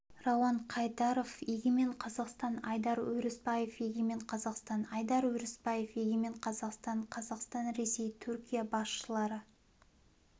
рауан қайдаров егемен қазақстан айдар өрісбаев егемен қазақстан айдар өрісбаев егемен қазақстан қазақстан ресей түркия басшылары